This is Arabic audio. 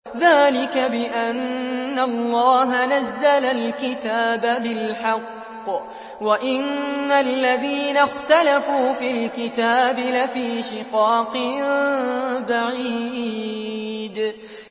ذَٰلِكَ بِأَنَّ اللَّهَ نَزَّلَ الْكِتَابَ بِالْحَقِّ ۗ وَإِنَّ الَّذِينَ اخْتَلَفُوا فِي الْكِتَابِ لَفِي شِقَاقٍ بَعِيدٍ